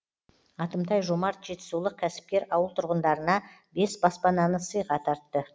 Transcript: атымтай жомарт жетісулық кәсіпкер ауыл тұрғындарына бес баспананы сыйға тартты